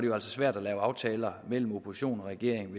jo altså svært at lave aftaler mellem opposition og regering